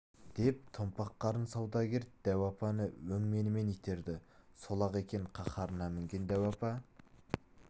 деп томпақ қарын саудагер дәу апаны өңменінен итерді сол-ақ екен қаһарына мінген дәу апа